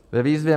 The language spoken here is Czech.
Ve výzvě